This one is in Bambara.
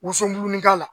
Woson dumunikala la